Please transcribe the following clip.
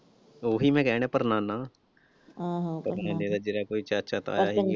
ਉਹੀ ਮੈਂ ਕਹਿਣ ਡਿਆਂ ਪੜਨਾਨਾ ਆਹੋ ਪਤਾ ਨਈਂ ਜਿਹੜਾ ਕੋਈ ਚਾਚਾ ਤਾਇਆ ਸੀ।